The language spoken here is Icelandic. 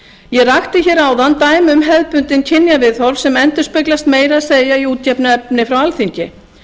ég rakti hér áðan dæmi um hefðbundin kynjaviðhorf sem endurspeglast meira að segja í útgefnu efni frá alþingi